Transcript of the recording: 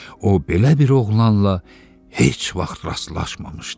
O belə bir oğlanla heç vaxt rastlaşmamışdı.